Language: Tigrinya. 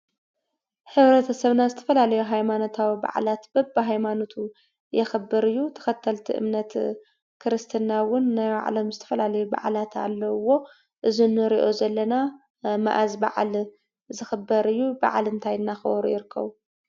ሕብረተሰብና ዝተፈላለዩ ሃይማነታዊ በዓላት በቢ ሃይማኖቱ ይኽብር እዩ። ተከተልቲ እምነት ክርስትና እውን ናይ ባዕሎም ዝተፈላለዩ በዓላት ኣለውዎ። እዚ ኣንሪኦ ዘለና መዓዝ በዓል ዝኽበር እዩ? በዓል እንታይ ዳኽበሩ ይርከቡ?